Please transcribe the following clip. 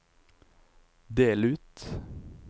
del ut